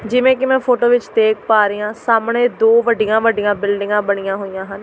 ਜਿਵੇਂ ਕੀ ਮੈਂ ਫੋਟੋ ਵਿੱਚ ਦੇਖ ਪਾ ਰਹੀ ਆ ਸਾਹਮਣੇ ਦੋ ਵੱਡੀਆਂ ਵੱਡੀਆਂ ਬਿਲਡਿੰਗਾਂ ਬਣੀਆਂ ਹੋਇਆ ਹਨ।